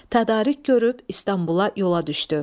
Tədarük görüb İstanbula yola düşdü.